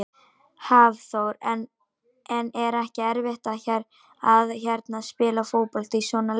Hafþór: En er ekki erfitt að hérna, spila fótbolta í svona leir?